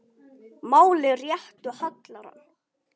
Máli réttu hallar hann